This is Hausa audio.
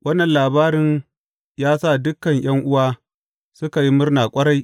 Wannan labarin ya sa dukan ’yan’uwa suka yi murna ƙwarai.